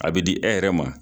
A bɛ di e yɛrɛ ma.